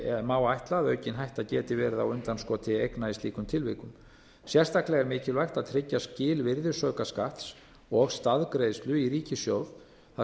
má ætla að aukin hætta geti verið á undanskoti eigna í slíkum tilvikum sérstaklega er mikilvægt að tryggja skil virðisaukaskatts og staðgreiðslu í ríkissjóð þar